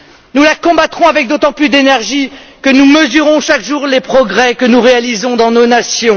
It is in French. Nous la combattrons avec d'autant plus d'énergie que nous mesurons chaque jour les progrès que nous réalisons dans nos nations.